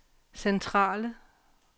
centrale